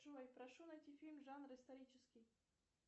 джой прошу найти фильм жанр исторический